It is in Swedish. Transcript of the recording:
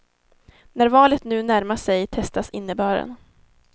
När valet nu närmar sig testas innebörden.